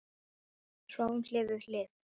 Sváfum hlið við hlið.